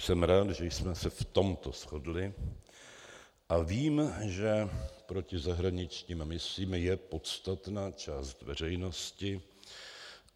Jsem rád, že jsme se v tomto shodli, a vím, že proti zahraničním misím je podstatná část veřejnosti.